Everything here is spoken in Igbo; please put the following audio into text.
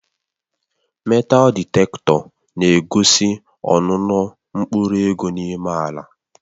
Metaal dịktetọ na-egosi ọnụnọ mkpụrụ ego n'ime ala